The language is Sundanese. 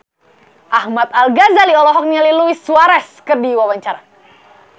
Ahmad Al-Ghazali olohok ningali Luis Suarez keur diwawancara